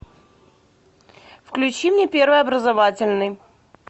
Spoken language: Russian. включи мне первый образовательный